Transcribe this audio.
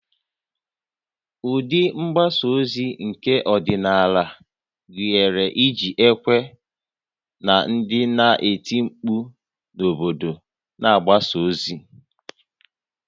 Ụdị mgbasa ozi nke ọdịnala gụnyere iji ekwe na ndị na-eti mkpu n'obodo na-agbaso ozi